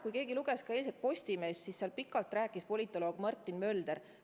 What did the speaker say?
Kui keegi luges eilset Postimeest, siis seal rääkis pikalt politoloog Martin Mölder.